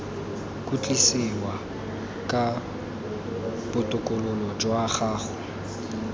khutlisiwa ga botokololo jwa gago